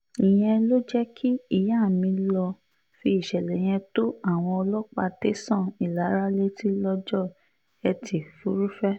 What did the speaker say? ìyẹn ló jẹ́ kí ìyá mi lọ́ọ́ fi ìṣẹ̀lẹ̀ yẹn tó àwọn ọlọ́pàá tẹ̀sán ìlara létí lọ́jọ́ etí furuufee